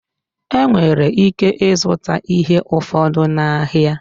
E nwere ike ịzụta ihe ụfọdụ n'ahịa.